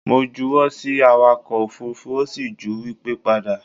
Mo ju wọ́ sí awakọ̀ òfurufú ó sì ju wipe padà